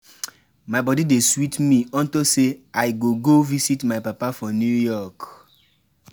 My body dey sweet me unto say I go go visit my papa for New York